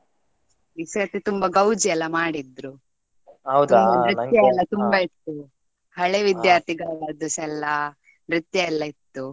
ಈ ಸತಿ ತುಂಬಾ ಗೌಜಿ ಎಲ್ಲ ಮಾಡಿದ್ರು ತುಂಬ ನೃತ್ಯ ಎಲ್ಲ ತುಂಬಾ ಇತ್ತು. ಹಳೆ ವಿದ್ಯಾರ್ಥಿಗಳು ಅದುಸಾ ಎಲ್ಲ ನೃತ್ಯ ಎಲ್ಲ ಇತ್ತು.